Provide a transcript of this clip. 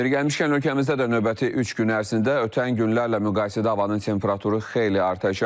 Yeri gəlmişkən, ölkəmizdə də növbəti üç gün ərzində ötən günlərlə müqayisədə havanın temperaturu xeyli artacaq.